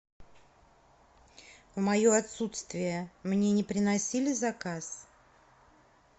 в мое отсутствие мне не приносили заказ